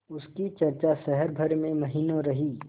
उसकी चर्चा शहर भर में महीनों रही